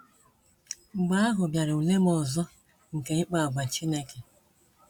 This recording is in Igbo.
Mgbe ahụ bịara ule m ọzọ nke ịkpa àgwà Chineke.